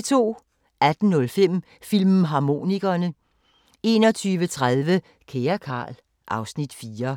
18:05: Filmharmonikerne 21:30: Kære Carl... (Afs. 4)